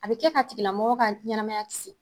A bɛ kɛ k'a tigila mɔgɔ ka ɲɛnamaya kisi.